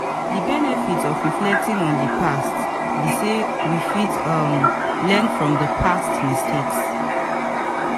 di benefit if reflecting on di past be sey we fit um learn from past mistakes